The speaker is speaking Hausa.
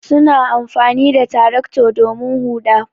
Suna amfani da tractor domin huɗa.